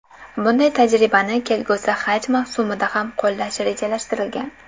Bunday tajribani kelgusi haj mavsumida ham qo‘llash rejalashtirilgan.